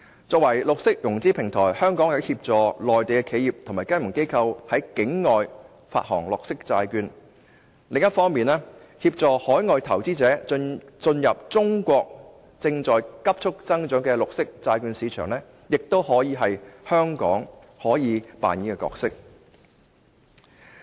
作為綠色融資平台，香港既可協助內地企業和金融機構在境外發行綠色債券，亦可協助海外投資者進入中國正在急促增長的綠色債券市場，這是香港可以扮演的角色。